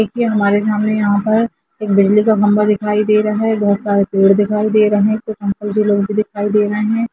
देखिये हमारे सामने यहाँ पर एक बिजली खम्बा दिखाई दे रहा है बहोत सारे पेड़ दिखाई दे रहे है दिखाई दे रहे है।